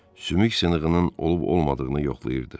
Sümük sınığının olub-olmadığını yoxlayırdı.